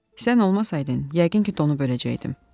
Sən olmasaydın, yəqin ki, donub öləcəkdim.